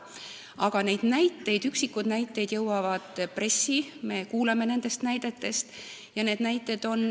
Aga üksikud näited on jõudnud pressi, me oleme nendest kuulnud.